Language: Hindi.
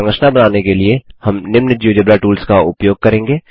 संरचना बनाने के लिए हम निम्न जियोजेब्रा टूल्स का उपयोग करेंगे